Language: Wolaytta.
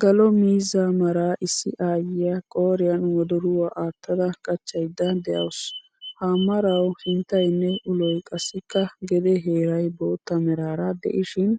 Galo miizzaa mara issi aayiya qoriyan wodoruwaa aattada qachchayda deawus. Ha marawu sinttayne uloy qassika gede heeray boottaa meraara de'ishin